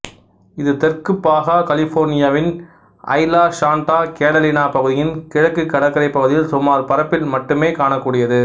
இது தெற்கு பாகா கலிபோர்னியாவின் ஐலா சாண்டா கேடலினா பகுதியின் கிழக்கு கடற்கரைப் பகுதியில் சுமார் பரப்பில் மட்டுமே காணக்கூடியது